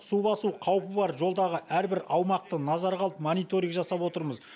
су басу қаупі бар жолдағы әрбір аумақты назарға алып мониторинг жасап отырмыз